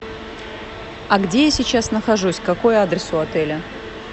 а где я сейчас нахожусь какой адрес у отеля